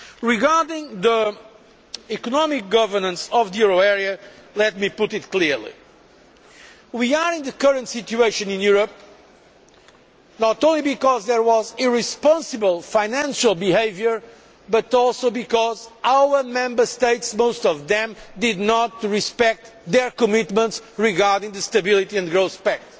Regarding the economic governance of the euro area, let me put things clearly. We are in the current situation in Europe not only because there was irresponsible financial behaviour but also because our Member States or most of them did not respect their commitments regarding the Stability and Growth Pact.